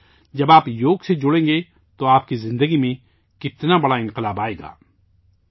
دیکھئے جب آپ یوگاسے جڑیں گے تو آپ کی زندگی میں کتنی بڑی تبدیلی آئے گی